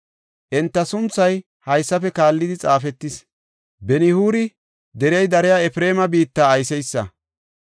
Enta sunthay haysafe kaallidi xaafetis. Benihuuri derey dariya Efreema biitta ayseysa.